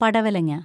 പടവലങ്ങാ